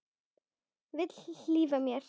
Vill hlífa mér.